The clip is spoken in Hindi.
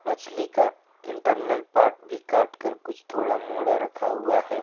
मछली का इंटरनल पार्ट भी काट कर कुछ थोड़ा मोड़ा रखा हुआ है।